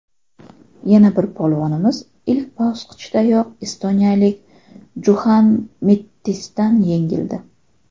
Yana bir polvonimiz ilk bosqichdayoq estoniyalik Juxan Mettisdan yengildi.